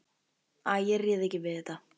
Æ, ég réð ekki við þetta.